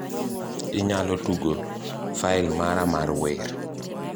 inyalo tugo fail mara mar wer